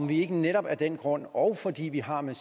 vi ikke netop af den grund og fordi vi har med